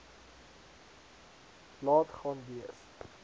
laat gaan wees